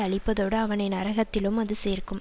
அழிப்பதோடு அவனை நரகத்திலும் அது சேர்க்கும்